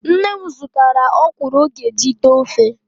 Nne m zụtara ọkwụrụ ọ ga-eji tee ofe